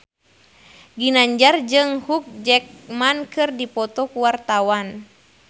Ginanjar jeung Hugh Jackman keur dipoto ku wartawan